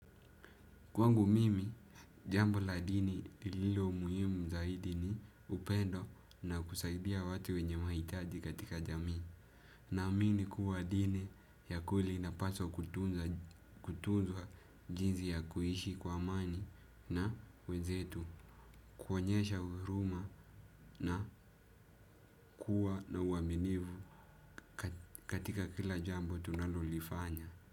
Kwangu mimi, jambo la dini ililo muhimu zaidi ni upendo na kusaidia watu wenye mahitaji katika jamii. Na amini kuwa dini ya kweli ina paswa kutunzwa jinzi ya kuishi kwa amani na wenzetu. Kuonyesha huruma na kuwa na uaminivu katika kila jambo tunalolifanya.